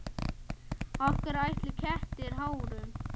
Af hverju æla kettir hárum?